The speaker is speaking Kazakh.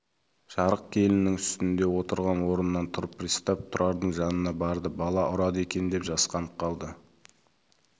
жарық келінің үстінде отырған орнынан тұрып пристав тұрардың жанына барды бала ұрады екен деп жасқанып қалды